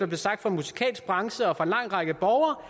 fra den musikalske branche og fra en lang række borgere